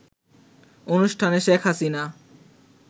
অনুষ্ঠানে শেখ হাসিনা